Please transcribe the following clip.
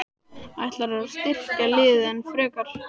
Ætlarðu að styrkja liðið enn frekar?